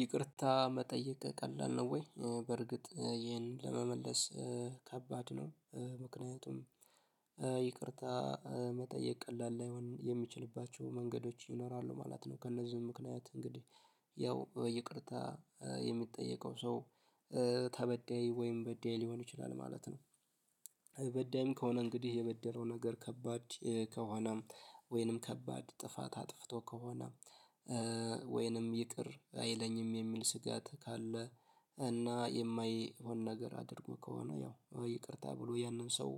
ይቅርታ መጠየቅ ቀላል ነው ወይ በርግጥ ይሄን ለመመለስ ከባድ ነው። ምክንያቱም ይቅርታ መጠየቅ ቀላል ላይሆን የሚችልባቸው መንገዶች ይኖራሉ ማለት ነው። ከእነዚህም ምክንያት እንግዲህ ያው በይቅርታ የሚጠየቀው ሰው ተበዳይ ወይም በዳይ ሊሆን ይችላል ማለት ነው። በዳይም ከሆነ እንግዲህ የበደለው ነገር ከባድ ከሆነ ወይንም ከባድ ጥፋት አጥፍቶ ከሆነ ወይንም ይቅር አይለኝም የሚል ስጋት ካለ እና የማይሆን ነገር አድርጎ ከሆነ ያው ይቅርታ ብሎ ያንን ሰው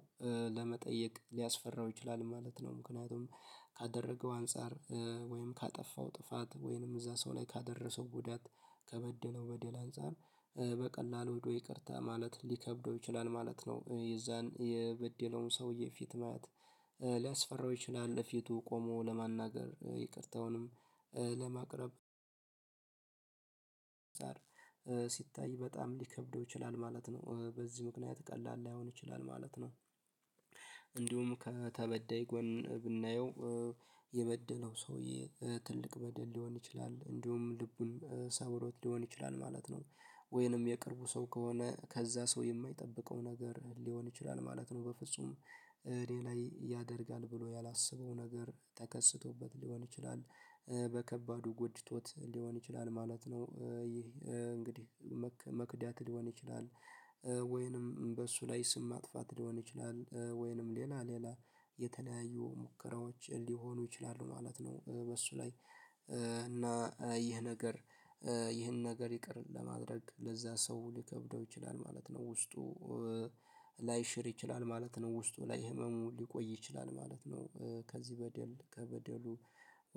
ለመጠየቅ ሊያስፈራው ይችላል ማለት ነው። ምክንያቱም ካደረገው አንፃር ወይም ካጠፋው ጥፋት ወይም እዛ ሰው ላይ ካደረሰው ጉዳት ከበደለው በደል አንፃር ሄዶ ይቅርታ ማለት ሊከብደው ይችላል ማለት ነው። የዛን የበደለውን ሰውዬ ፊት ማየት ሊያስፈራው ይችላል ፊቱ ቆሞ ለማናገር ይቅርታውንም ለማቅረብ ሲታይ በጣም ሊከብደው ይችላል ማለት ነው። በዚህ ምክንያት ቀላል ላይሆን ይችላል ማለት ነው። እንዲሁም ከተበደይ ጎን ብናየው የበደለው ሰውዬ ትልቅ በደል ሊሆን ይችላል እንዲሁም ልቡን ሰብሮት ሊሆን ይችላል ማለት ነው። ወይንም የቅርቡ ሰው ከሆነ ከዛ ሰው የማይጠብቀው ነገር ሊሆን ይችላል ማለት ነው በፍጹም እኔ ላይ ያደርጋል ብሎ ያላሰበው ነገር ተከስቶበት ሊሆን ይችላል በከባዱ ጎድቶት ሊሆን ይችላል ማለት ነው። ይህ እንግዲህ መክዳት ሊሆን ይችላል ወይንም በሱ ላይ ስም ማጥፋት ሊሆን ይችላል ወይንም ሌላ ሌላ የተለያዩ ሙከራዎች ሊሆኑ ይችላሉ ማለት ነው። በሱ ላይ እና ይህ ነገር ይህን ነገር ይቅር ለማድረግ ለዛ ሰው ሊከብደው ይችላል ማለት ነው። ውስጡ ላይሽር ይችላል ማለት ነው። ውስጡ ላይ ህመሙ ሊቆይ ይችላል ማለት ነው። ከዚህ በደል ከበደሉ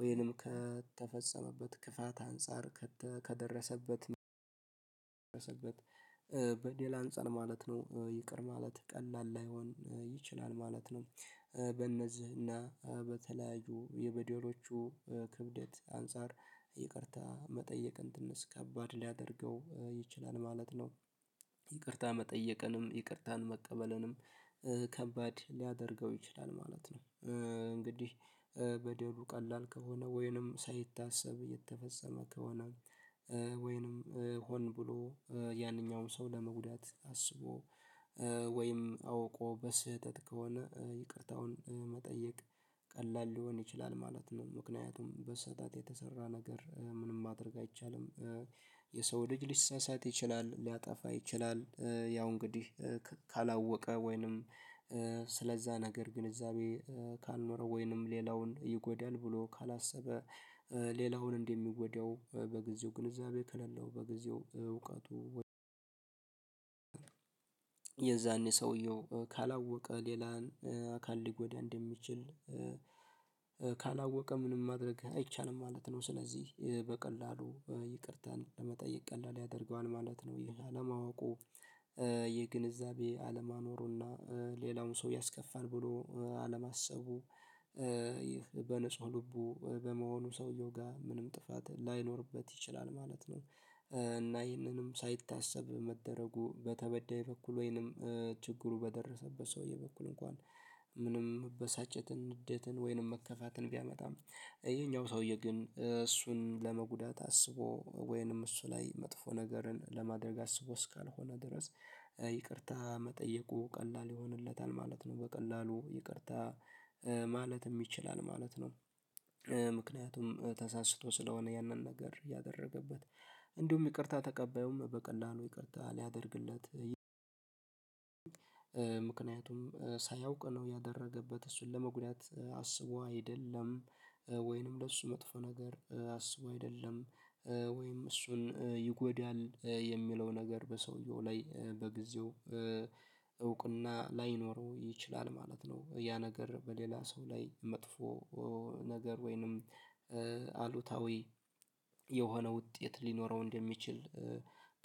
ወይንም ከተፈጸመበት ክፋት አንፃር ከደረሰበት በደል አንፃር ማለት ነው ይቅር ማለት ቀላል ላይሆን ይችላል ማለት ነው። በእነዚህና በተለያዩ የበደሎቹ ክብደት አንፃር ይቅርታ መጠየቅን ትንሽ ከባድ ሊያደርገው ይችላል ማለት ነው። ይቅርታ መጠየቅንም ይቅርታን መቀበልንም ከባድ ሊያደርገው ይችላል ማለት ነው። እንግዲህ በደሉ ቀላል ከሆነ ወይንም ሳይታሰብ እየተፈጸመ ከሆነ ወይንም ሆን ብሎ ያንኛውንም ሰው ለመጉዳት አስቦ ወይም አውቆ በስህተት ከሆነ ይቅርታውን መጠየቅ ቀላል ሊሆን ይችላል ማለት ነው። ምክንያቱም በስህተት የተሰራ ነገር ምንም ማድረግ አይቻልም። የሰው ልጅ ሊሳሳት ይችላል ሊያጠፋ ይችላል ያው እንግዲህ ካላወቀ ወይንም ስለዛ ነገር ግንዛቤ ካልኖረው ወይንም ሌላውን ይጎዳል ብሎ ካላሰበ ሌላውን እንደሚጎዳው በጊዜው ግንዛቤ ከሌለው የዛኔ ሰዉየው ካላወቀ ሌላን አካል ሊጎዳ እንደሚችል ካላወቀ ምንም ማድረግ አይቻልም ማለት ነው። ስለዚህ በቀላሉ ይቅርታን ለመጠየቅ ቀላል ያደርገዋል ማለት ነው። ይሄ አለማወቁ የግንዛቤ አለማኖሩና ሌላውን ሰው ያስከፋል ብሎ አለማሰቡ በንጹህ ልቡ በመሆኑ ሰውየው ጋር ምንም ጥፋት ላይኖርበት ይችላል ማለት ነው። እና ይህንንም ሳይታሰብ መደረጉ በተበዳይ በኩል ወይንም ችግሩ በደረሰበት ሰውዬ በኩል እንኳን ምንም መበሳጨትን ንዴትን ወይንም መከፋትን ቢያመጣም ይሄኛው ሰውዬ ግን እሱን ለመጉዳት አስቦ ወይንም እሱ ላይ መጥፎ ነገርን ለማድረግ አስቦ እስካልሆነ ድረስ ይቅርታ መጠየቁ ቀላል ይሆንለታል ማለት ነው። በቀላሉ ይቅርታ ማለትም ይችላል ማለት ነው። ምክንያቱም ተሳስቶ ስለሆነ ያንን ነገር ያደረገበት እንዲሁም ይቅርታ ተቀባዩም በቀላሉ ይቅርታ ሊያደርግለት ሳያውቅ ነው ያደረገበት እሱን ለመጉዳት አስቦ አይደለም ወይንም ለእሱ መጥፎ ነገር አስቦ አይደለም ወይም እሱን ይጎዳል የሚለው ነገር በሰውየው ላይ በጊዜው እውቅና ላይኖረው ይችላል ማለት ነው። ያ ነገር በሌላ ሰው ላይ መጥፎ ነገር ወይንም አሉታዊ የሆነ ውጤት ሊኖረው እንደሚችል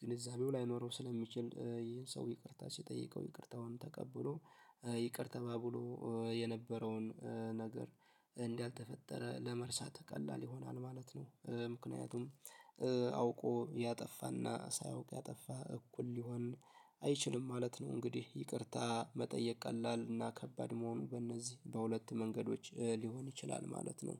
ግንዛቤው ላይኖረው ስለሚችል ይሄን ሰው ይቅርታ ሲጠይቀው ይቅርታውን ተቀብሎ ይቅር ተባብሎ የነበረውን ነገር እንዳልተፈጠረ ለመርሳት ቀላል ይሆናል ማለት ነው። ምክንያቱም አውቆ ያጠፋና ሳያውቅ ያጠፋ እኩል ሊሆን አይችልም ማለት ነው። እንግዲህ ይቅርታ መጠየቅ ቀላል እና ከባድ መሆኑ በእነዚህ በሁለት መንገዶች ሊሆን ይችላል ማለት ነው።